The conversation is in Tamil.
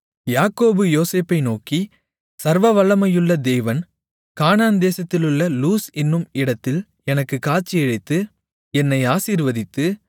யாக்கோபு யோசேப்பை நோக்கி சர்வவல்லமையுள்ள தேவன் கானான் தேசத்திலுள்ள லூஸ் என்னும் இடத்தில் எனக்குக் காட்சியளித்து என்னை ஆசீர்வதித்து